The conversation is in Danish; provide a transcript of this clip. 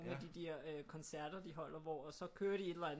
De der øh koncerter de holder hvor og så kører de et eller andet